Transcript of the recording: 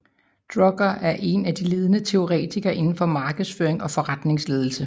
Drucker er en af de ledende teoretikere indenfor markedsføring og forretningsledelse